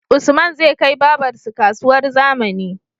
Usman zai kai babar su kasuwar zamani